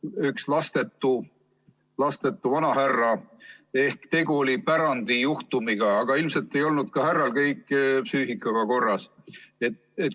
üht lastetut vanahärrat, tegu oli pärandijuhtumiga, aga ilmselt ei olnud härral ka kõik psüühikaga korras.